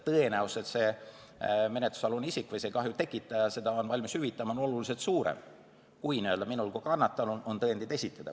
Tõenäosus, et menetlusalune isik või kahju tekitaja on valmis seda hüvitama, on oluliselt suurem, kui minul kui kannatanul on tõendeid esitada.